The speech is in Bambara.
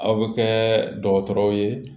Aw bɛ kɛ dɔgɔtɔrɔw ye